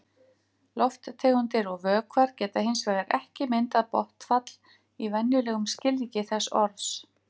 Lofttegundir og vökvar geta hins vegar ekki myndað botnfall í venjulegum skilningi þess orðs.